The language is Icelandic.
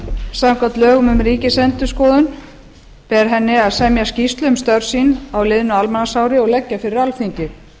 samkvæmt lögum um ríkisendurskoðun ber henni að semja skýrslu um störf sín á liðnu almanaksári og leggja fyrir alþingi